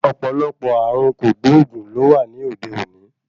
Ọ̀pọ̀lọpọ̀ ààrùn kògbóògùn ló wà ní òde òní.